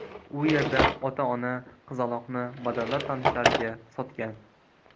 U yerda ota-ona qizaloqni badavlat tanishlariga sotgan.